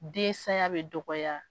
Den saya bɛ dɔgɔ